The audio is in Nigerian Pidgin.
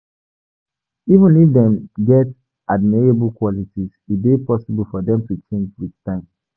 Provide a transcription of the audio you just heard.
Even if dem get admirable qualities, e dey possible for dem to change with time